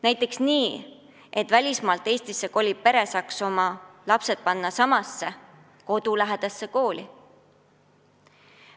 Näiteks nii, et välismaalt Eestisse koliv pere saaks oma lapsed panna kodulähedasse kooli.